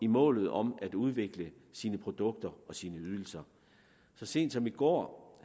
målet om at udvikle sine produkter og sine ydelser så sent som i går